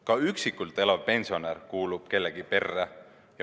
Ka üksikult elav pensionär kuulub kellegi perre.